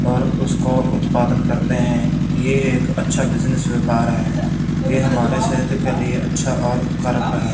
और उसको उत्पादन करते हैं ये एक अच्छा बिजनेस व्यापार है ये हमारे सेहत के लिए अच्छा और करत है।